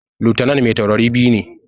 Lutanan mai taurari biyu ne